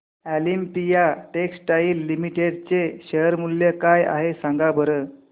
Olympia textiles limited चे share मूल्य काय आहे सांगा बरं